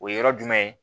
O ye yɔrɔ jumɛn ye